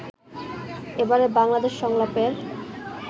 এবারের বাংলাদেশ সংলাপের